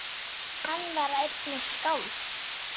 Hann var einnig skáld.